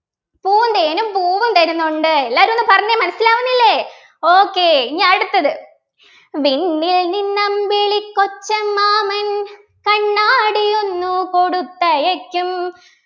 പൂന്തേനും പൂവും തരുന്നുണ്ട എല്ലാരും ഒന്ന് പറഞ്ഞെ മനസിലാവുന്നില്ലേ okay ഇനി അടുത്തത് വിണ്ണിൽ നിന്നമ്പിളിക്കൊച്ചമ്മാമൻ കണ്ണാടിയൊന്നു കൊടുത്തയയ്ക്കും